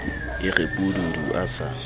e re pududu a sa